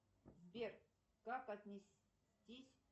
сбер как отнестись